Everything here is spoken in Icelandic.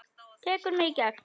Tekur mig í gegn.